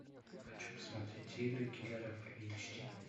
хочу посмотреть игры киллеров эйч ди